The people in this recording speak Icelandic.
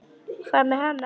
Hvað með hana?